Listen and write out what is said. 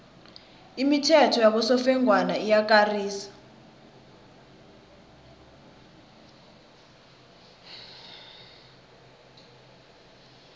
imithetho yabosofengwana iyakarisa